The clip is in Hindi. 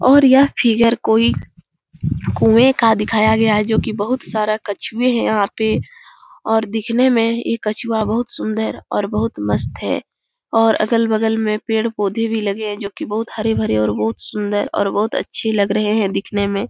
और यह फिगर कोई कुँए का दिखाया गया है जो कि बहुत सारा कछुए हैं यहाँ पे और दिखने में ये कछुआ बहुत सुन्दर और बहुत मस्त है और अगल बगल में पेड़ पौधे भी लगे हैं जो कि बहुत हरे भरे और बहुत सुंदर और बहुत अच्छे लग रहे है दिखने में ।